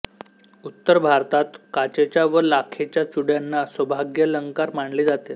उत्तर भारतात काचेच्या व लाखेच्या चुड्यांना सौभाग्यालंकार मानले जाते